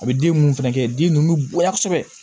A bɛ den ninnu fɛnɛ kɛ den ninnu bɛ bonya kosɛbɛ